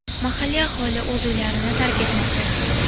Mahalliy aholi o‘z uylarini tark etmoqda.